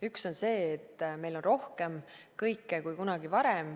Üks on see, et meil on kõike rohkem kui kunagi varem.